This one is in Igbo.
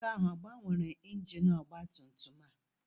Nwoke ahụ ọ gbanwere injin ọgba tum tum a?